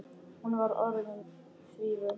Hún var orðin því vön.